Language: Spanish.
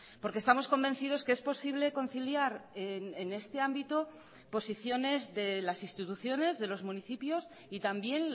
porque estamos convencidos que es posible conciliar en este ámbito posiciones de las instituciones de los municipios y también